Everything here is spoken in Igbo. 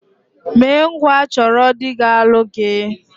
Mee ngwa chọrọ dị ga-alụ gị!